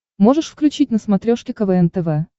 можешь включить на смотрешке квн тв